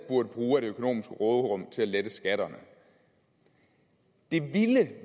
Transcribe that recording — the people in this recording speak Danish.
burde bruge af det økonomiske råderum til at lette skatterne det ville